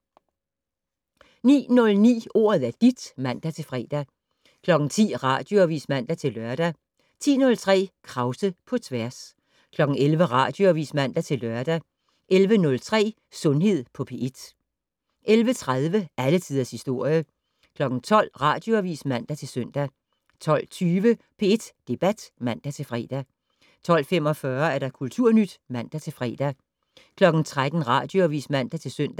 09:09: Ordet er dit (man-fre) 10:00: Radioavis (man-lør) 10:03: Krause på tværs 11:00: Radioavis (man-lør) 11:03: Sundhed på P1 11:30: Alle tiders historie 12:00: Radioavis (man-søn) 12:20: P1 Debat (man-fre) 12:45: Kulturnyt (man-fre) 13:00: Radioavis (man-søn)